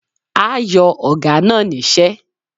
A yo Oga na nise